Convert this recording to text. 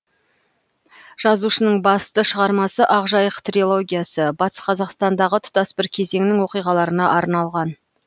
жазушының басты шығармасы ақ жайық трилогиясы батыс қазақстандағы тұтас бір кезеңнің оқиғаларына арналған